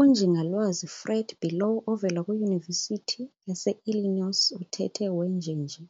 UNjing Fred Below ovela kwiYunivesithi yaseIllinois uthethe wenjenje